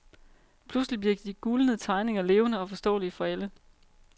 Pludselig bliver de gulnede tegninger levende og forståelige for alle.